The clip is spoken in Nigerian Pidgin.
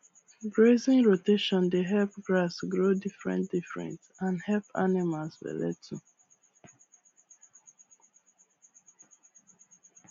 grazing rotation dey help grass grow differentdifferent and help animals belle too